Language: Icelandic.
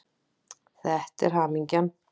Þetta er hamingjan.